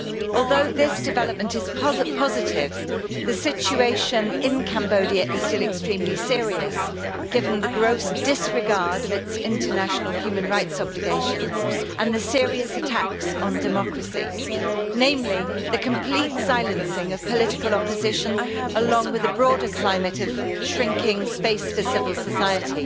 Although this development is positive, the situation in Cambodia is still extremely serious, given the gross disregard of its international human rights obligations and the serious attacks on democracy, namely the complete silencing of political opposition along with the broader climate of shrinking space for civil society.